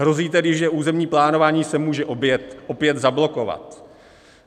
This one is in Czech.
Hrozí tedy, že územní plánování se může opět zablokovat.